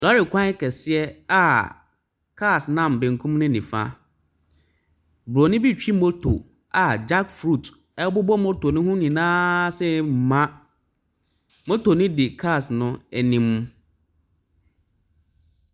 Lɔɔre kwan kɛseɛ a cars nam bankum ne nifa. Bronin bi ɛretwi moto a jackfruit bobɔ moto ne ho nyinaa sei ma. Moto no di cars no anim.